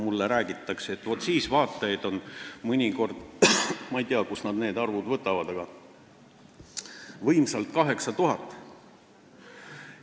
Mulle on räägitud, et siis on vaatajaid mõnikord võimsalt – ma küll ei tea, kust nad need arvud võtavad – 8000.